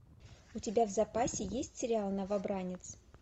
у тебя в запасе есть сериал новобранец